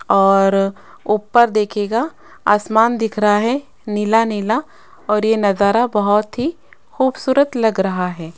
और ऊपर देखिएगा आसमान दिख रहा है नीला नीला और ये नजारा बहुत ही खूबसूरत लग रहा है।